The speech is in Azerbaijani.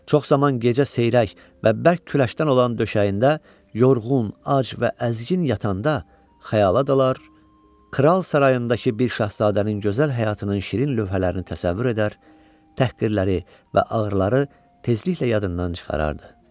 Çox zaman gecə seyrək və bərk küləşdən olan döşəyində yorğun, ac və əzgin yatanda xəyala dalar, kral sarayındakı bir şahzadənin gözəl həyatının şirin lövhələrini təsəvvür edər, təhqirləri və ağrıları tezliklə yadından çıxarardı.